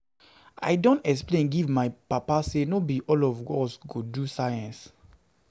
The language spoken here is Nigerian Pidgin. I don explain give my papa sey no be all of us go do Science.